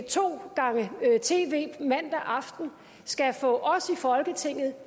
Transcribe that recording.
to gange tv mandag aften skal få os i folketinget